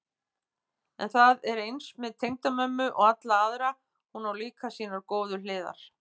En það er eins með tengdamömmu og alla aðra, hún á líka sínar góðu hliðar.